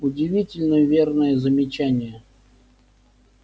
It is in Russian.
удивительно верное замечание